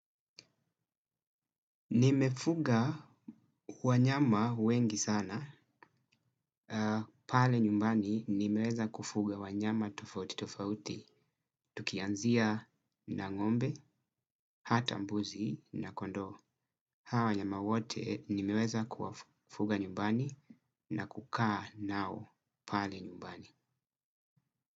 Nimefuga wanyama wengi sana, pale nyumbani nimeweza kufuga wanyama tofauti tofauti, tukianzia na ngombe, hata mbuzi na kondoo. Hawa wanyama wote nimeweza kuwafuga nyumbani na kukaa nao pale nyumbani.